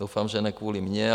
Doufám, že ne kvůli mně.